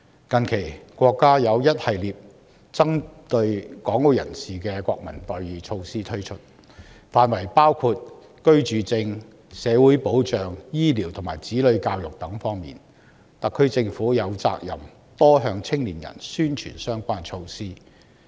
近期，國家推出一系列針對港澳人士的國民待遇措施，涵蓋居住證、社會保障、醫療及子女教育等方面，特區政府有責任多向青年人宣傳相關措施。